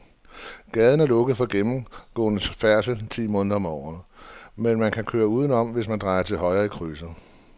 Gaden er lukket for gennemgående færdsel ti måneder om året, men man kan køre udenom, hvis man drejer til højre i krydset.